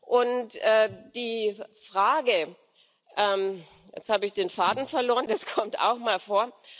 Und die Frage jetzt habe ich den Faden verloren, das kommt auch mal vor.